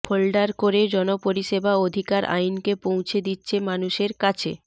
folder করে জনপরিষেবা অধিকার আইনকে পৌঁছে দিচ্ছে মানুষের কাছে